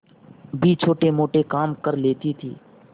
भी छोटेमोटे काम कर लेती थी